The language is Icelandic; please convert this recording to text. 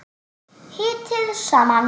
Hitið saman.